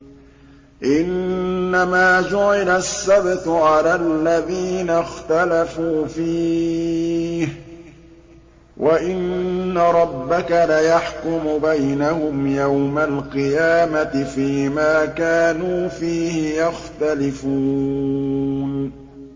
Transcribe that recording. إِنَّمَا جُعِلَ السَّبْتُ عَلَى الَّذِينَ اخْتَلَفُوا فِيهِ ۚ وَإِنَّ رَبَّكَ لَيَحْكُمُ بَيْنَهُمْ يَوْمَ الْقِيَامَةِ فِيمَا كَانُوا فِيهِ يَخْتَلِفُونَ